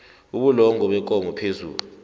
ubulongwe bekomo phezu